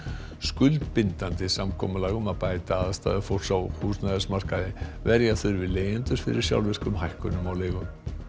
skuldbindandi samkomulag um að bæta aðstæður fólks á húsnæðimarkaði verja þurfi leigjendur fyrir sjálfvirkum hækkunum á leigu